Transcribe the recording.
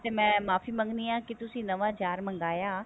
ਤੇ ਮੈਂ ਮਾਫ਼ੀ ਮੰਗਦੀ ਹੈ ਕੀ ਤੁਸੀਂ ਨਵਾਂ jar ਮੰਗਵਾਇਆ